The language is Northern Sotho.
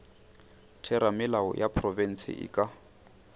theramelao ya profense e ka